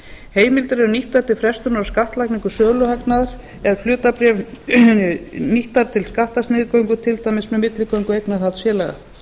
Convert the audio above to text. heimildir eru nýttar til frestunar á skattlagningu söluhagnaðar nýttar til skattasniðgöngu til dæmis með milligöngu eignarhaldsfélaga